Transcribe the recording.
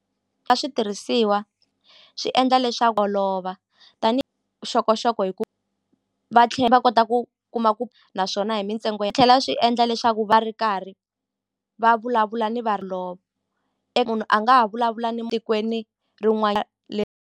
A switirhisiwa swi endla olova tanihi vuxokoxoko hi ku va tlhe va kota ku kuma ku naswona hi mintsengo ya tlhela swi endla leswaku va ri karhi va vulavula ni va munhu a nga ha vulavula ni tikweni .